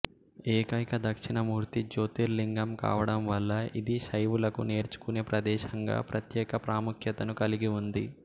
ఏకైక దక్షిణమూర్తి జ్యోతిర్లింగం కావడం వల్ల ఇది శైవులకు నేర్చుకునే ప్రదేశంగా ప్రత్యేక ప్రాముఖ్యతను కలిగి ఉంది